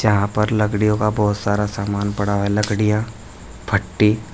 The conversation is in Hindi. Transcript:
यहां पर लकड़ियों का बहुत सारा सामान पड़ा हुआ है लकड़ियां फट्टी--